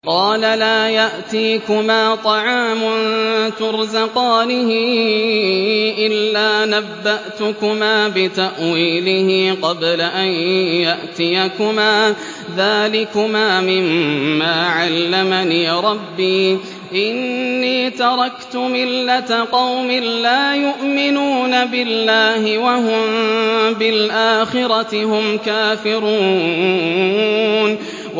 قَالَ لَا يَأْتِيكُمَا طَعَامٌ تُرْزَقَانِهِ إِلَّا نَبَّأْتُكُمَا بِتَأْوِيلِهِ قَبْلَ أَن يَأْتِيَكُمَا ۚ ذَٰلِكُمَا مِمَّا عَلَّمَنِي رَبِّي ۚ إِنِّي تَرَكْتُ مِلَّةَ قَوْمٍ لَّا يُؤْمِنُونَ بِاللَّهِ وَهُم بِالْآخِرَةِ هُمْ كَافِرُونَ